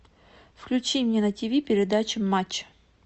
включи мне на тв передачу матч